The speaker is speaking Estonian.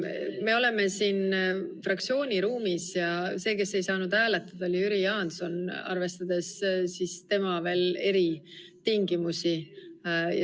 Me oleme oma fraktsiooni ruumis ja see, kes ei saanud hääletada, oli Jüri Jaanson, kelle puhul kehtivad veel eritingimused.